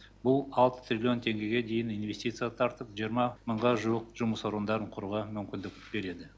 бұл алты триллион теңгеге дейін инвестиция тартып жиырма мыңға жуық жұмыс орындарын құруға мүмкіндік береді